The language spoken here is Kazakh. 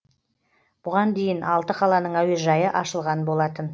бұған дейін алты қаланың әуежайы ашылған болатын